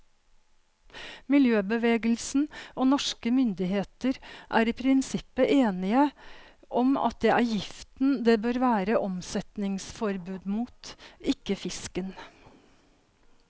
Miljøbevegelsen og norske myndigheter er i prinsippet enige om at det er giften det bør være omsetningsforbud mot, ikke fisken.